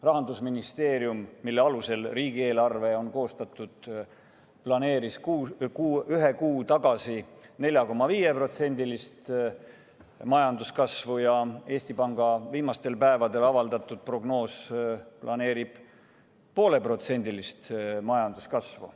Rahandusministeerium, kelle plaani alusel riigieelarve on koostatud, planeeris üks kuu tagasi 4,5% majanduskasvu, Eesti Panga viimastel päevadel avaldatud prognoos aga vaid 0,5% majanduskasvu.